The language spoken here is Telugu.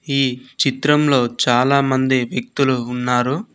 ఈ చిత్రంలో చాలా మంది వ్యక్తులు ఉన్నారు.